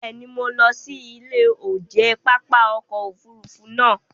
Bẹ́ẹ̀ ni, mo lọ sí ilé oúnjẹ pápá ọkọ̀ Òfurufú naa